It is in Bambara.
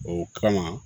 O kama